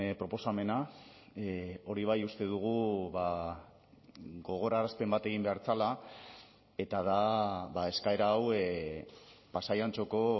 proposamena hori bai uste dugu gogorarazpen bat egin behar zela eta da eskaera hau pasai antxoko